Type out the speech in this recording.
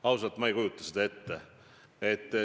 Ausalt, ma ei kujuta seda ette.